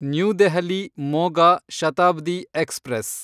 new Delhi Moga Shatabdi express